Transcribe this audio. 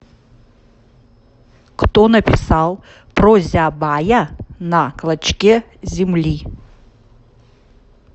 кто написал прозябая на клочке земли